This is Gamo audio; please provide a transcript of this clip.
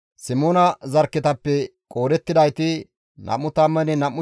Simoona zarkketappe qoodettidayti 22,200 addeta.